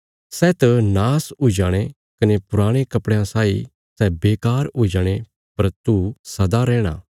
सै त नाश हुई जाणे कने पुराणे कपड़े साई सै बेकार हुई जाणे पर तू सदा रैहणा